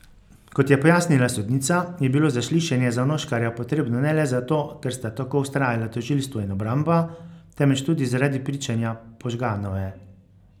Kot je pojasnila sodnica, je bilo zaslišanje Zanoškarja potrebno ne le zato, ker sta tako vztrajala tožilstvo in obramba, temveč tudi zaradi pričanja Požganove.